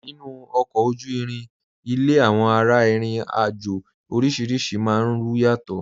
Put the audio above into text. Nínu ọ̀kọ ojú-ìrìn ilẹ̀, awọn ara-ìrìn-àjọ̀ orísíríṣì máa n rún yàtọ̀.